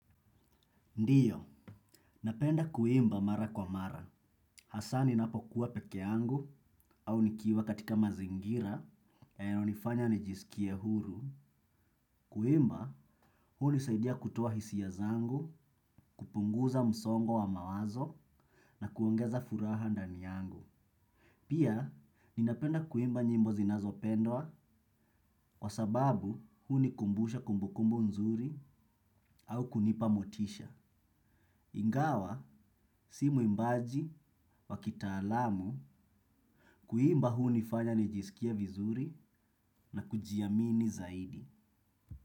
Ndio, napenda kuimba mara kwa mara. Hasa ninapokuwa peke yangu au nikiwa katika mazingira yanayonifanya nijisikie huru. Kuimba, hunisaidia kutoa hisia zangu, kupunguza msongo wa mawazo na kuongeza furaha ndani yangu. Pia, ninapenda kuimba nyimbo zinazopendwa kwa sababu hunikumbusha kumbu kumbu nzuri au kunipa motisha. Ingawa, si mwimbaji wa kitaalamu, kuimba hunifanya nijisikie vizuri na kujiamini zaidi.